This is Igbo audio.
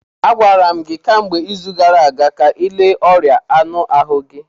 Agwara m gị kemgbe izu gara aga ka ịle ọrịa anụ ahụ gị